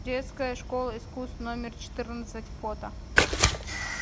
детская школа искусств номер четырнадцать фото